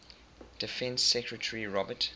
defense secretary robert